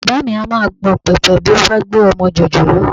Bàbá mi á máa gbọ̀n pẹ̀pẹ̀ bí ó bá gbé ọmọ jòjòló